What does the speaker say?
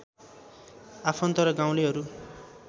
आफन्त र गाउँलेहरू